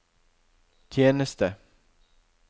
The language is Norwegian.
tjeneste